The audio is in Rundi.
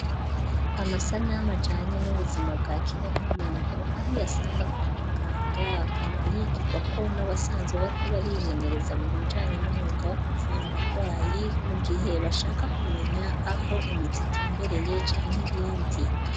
Amasanamu ajanye n'ubuzima bwa kiremwa muntu, aho uyasanga kwa muganga, akaba yigirwako n'abasanzwe bariko barimenyereza mu bijanye n'umwuga wo kuvura abagwayi, mu gihe bashaka kumenya aho imitsi itumbereye canke ibindi.